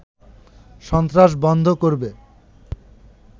সন্ত্রাস বন্ধ করবে